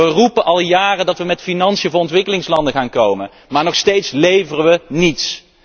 Wij roepen al jaren dat wij met financiën voor ontwikkelingslanden gaan komen, maar nog steeds leveren wij niets!